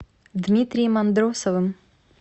дмитрием андросовым